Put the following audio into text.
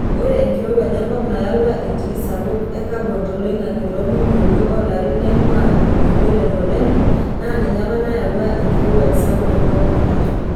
Ore enkirowuaj enkop nayawua entii sapuk e kabon toloingange tomilionini oolarin nainguaa ildonyio le voleno naa ninye apa nayawua enkirowuaj sapuk enkop inakata.